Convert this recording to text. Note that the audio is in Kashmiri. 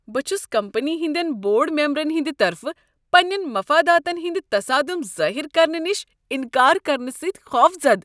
بہٕ چھس کمپٔنی ہنٛدین بورڈ ممبرن ہٕنٛد طرفہٕ پننین مفاداتن ہٕنٛدۍ تصادم ظاہر کرنہٕ نشہ انکار کرنہٕ سۭتۍخوفزدہ۔